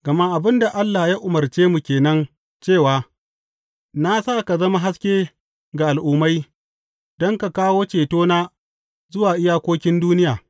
Gama abin da Allah ya umarce mu ke nan cewa, Na sa ka zama haske ga Al’ummai, don ka kawo cetona zuwa iyakokin duniya.’